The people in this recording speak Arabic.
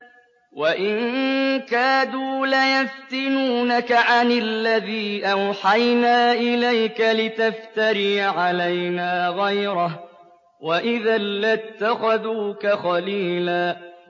وَإِن كَادُوا لَيَفْتِنُونَكَ عَنِ الَّذِي أَوْحَيْنَا إِلَيْكَ لِتَفْتَرِيَ عَلَيْنَا غَيْرَهُ ۖ وَإِذًا لَّاتَّخَذُوكَ خَلِيلًا